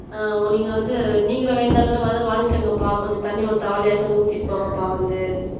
ஆஹ் நீங்க வந்து நீங்களும் வேணும்னா வந்து வாங்கிக்கோங்கபா கொஞ்சம் தண்ணி ஒரு தவளையாச்சும் வந்து ஊத்திட்டு போங்கப்பா வந்து